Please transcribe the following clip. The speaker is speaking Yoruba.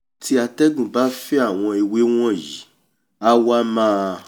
tí atẹ́gùn bá fẹ́ àwọn fẹ́ àwọn ewé wọ̀nyí á wá máa